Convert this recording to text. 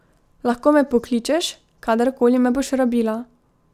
Lahko me pokličeš, kadarkoli me boš rabila.